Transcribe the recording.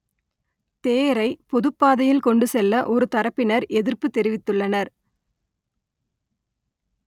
தேரை பொதுப் பாதையில் கொண்டு செல்ல ஒரு தரப்பினர் எதிர்ப்புத் தெரிவித்துள்ளனர்